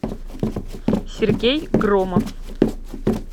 сергей громов